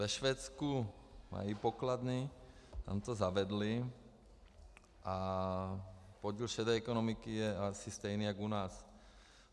Ve Švédsku mají pokladny, tam to zavedli a podíl šedé ekonomiky je asi stejný jako u nás.